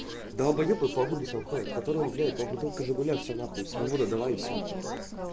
далбоебы по улицам ходят который блять ну бутылка жигуля все на хуй свобода давай все